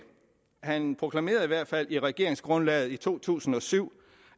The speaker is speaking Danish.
han proklamerede i hvert fald i regeringsgrundlaget i to tusind og syv